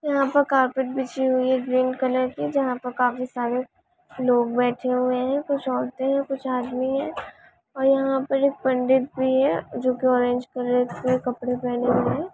यहाँ पर कारपेट बिछी हुई है ग्रीन कलर की जहाँ पर काफी सारे लोग बैठे हुए है कुछ औरतें है कुछ आदमी है और यहाँ पर पंडित भी है जो की ऑरेंज कलर के कपड़े पहने हुए है।